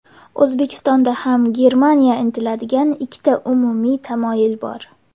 O‘zbekistonda ham Germaniya intiladigan ikkita umumiy tamoyil bor.